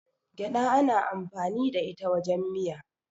gyada ana amfani da ita wajen miya